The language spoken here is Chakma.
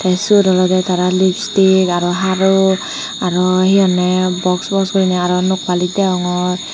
te seyot olode tara lipstick aro haru aro he honde box box gurine aro nok balos degongor.